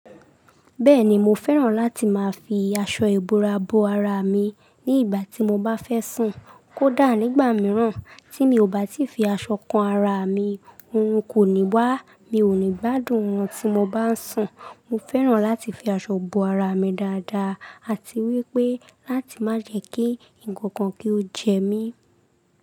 Bẹ́ẹ̀ni, mo fẹ́ràn láti máa fi aṣọ ìbora bo ara mi ní ìgbà tí mo bá fẹ́ sùn. Kódà, nígbà mìíràn tí mi ò bá ti fi aṣọ kan ara mi, orun kò ní wà. Mi ò ní gbádùn òrun tí mo bá ń sùn. Mo fẹ́ràn láti fi aṣọ bo ara mi dáadáa àti wípé láti má jẹ́ kí ǹkan kan kí ó jẹ mí.